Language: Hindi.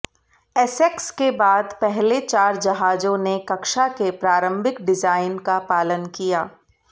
एसेक्स के बाद पहले चार जहाजों ने कक्षा के प्रारंभिक डिजाइन का पालन किया